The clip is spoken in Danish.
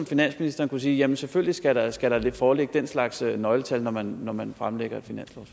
finansministeren kunne sige jamen selvfølgelig skal der skal der foreligge den slags nøgletal når man når man fremlægger